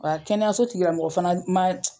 Wa kɛnɛyaso tigila mɔgɔ fana ma